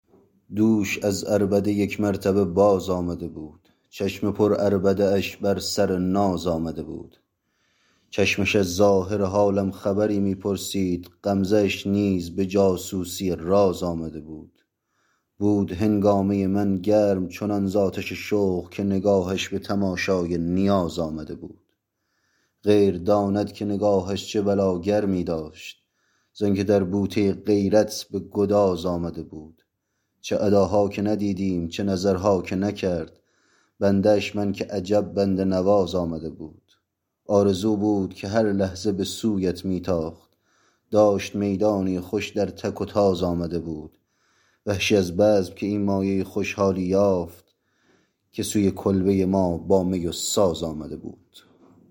دوش از عربده یک مرتبه باز آمده بود چشم پر عربده اش بر سر ناز آمده بود چشمش از ظاهر حالم خبری می پرسید غمزه اش نیز به جاسوسی راز آمده بود بود هنگامه من گرم چنان ز آتش شوق که نگاهش به تماشای نیاز آمده بود غیر داند که نگاهش چه بلا گرمی داشت زانکه در بوته غیرت به گداز آمده بود چه اداها که ندیدم چه نظرها که نکرد بنده اش من که عجب بنده نواز آمده بود آرزو بود که هر لحظه به سویت می تاخت داشت می دانی و خوش در تک و تاز آمده بود وحشی از بزم که این مایه خوشحالی یافت که سوی کلبه ما با می و ساز آمده بود